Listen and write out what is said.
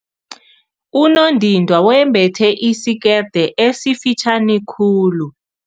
Unondindwa wembethe isikete esifitjhani khulu.